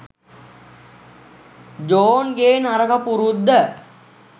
ජෝන්ගේ නරක පුරුද්ද.